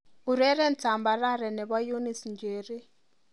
Ureren tambarare nebo Eunice Njeri